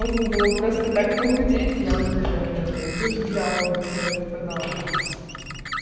можно было просто так похудеть я бы наверное блядь душу дьяволу за это продала